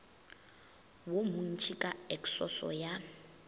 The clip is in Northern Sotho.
wo montši ka eksoso ya